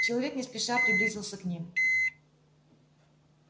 человек не спеша приблизился к ним